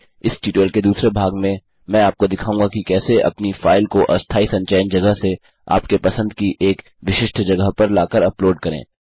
इस ट्यूटोरियल के दूसरे भाग में मैं आपको दिखाऊँगा कि कैसे अपनी फाइल को अस्थायी संचयन जगह से आपके पसंद की एक विशिष्ट जगह पर लाकर उपलोड करें